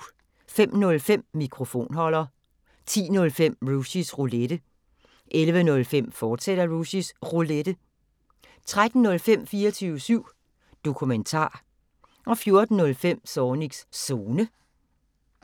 05:05: Mikrofonholder 10:05: Rushys Roulette 11:05: Rushys Roulette, fortsat 13:05: 24syv Dokumentar 14:05: Zornigs Zone